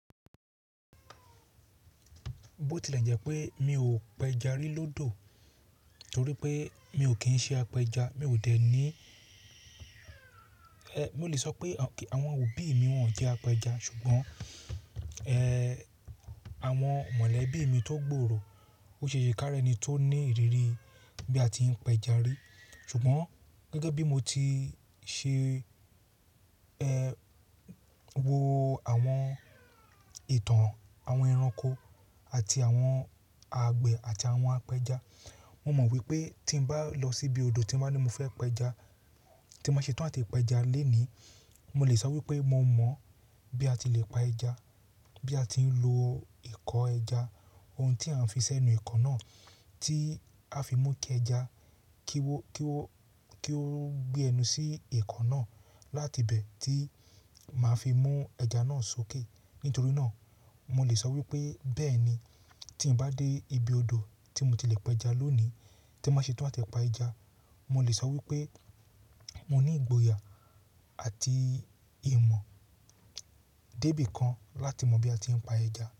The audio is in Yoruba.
Bo tilẹ̀ jẹ́ pé mi ò péja rí lódò torí pé mi ò kí ń ṣe apẹja, mi ò dẹ̀ ní, mo lè sọ pé àwọn òbí mi wọ́n jẹ́ apẹja ṣùgbọ́n, àwọn mọ̀lẹ́bí mi tó gbòòrò, ó ṣe èṣe káá rẹ́ni tó ní ìrírí bí a ti ń péja rí. Ṣùgbọ́n gẹ́gẹ́ bí mo ti ṣe,, wo àwọn ìtàn àwọn ẹranko àti àwọn àgbẹ̀ àti àwọn apẹja, mo mọ̀ wípé tí ń bá lọ síbi odò tí ń bá ní mo fẹ́ péja, tí mbá ṣe tán àti péja le nìí, mo lè sọ wípé mo mọ̀ bí a ti lè pa ẹja, bí a ti ń lo ìkọ́ ẹja, ohun tí a ń fi sẹ́nu ìkọ́ náà tí a fi mú kí ẹja kí ó, kí ó, kí ó gbé ẹnu sí ìkọ́ náà láti ibẹ̀ tí màá fi mú ẹja náà sókè. Nítorí náà mo lè sọ wípé bẹ́ẹ̀ ni tí ń bá dé ibi odò tí mo ti lè péja lónìí tí mba ṣe tán àti pa ẹja, mo lè sọ wípé mo ní ìgboyà àti ìmọ̀ débi kan láti mọ̀ bí a ti ń pa ẹja.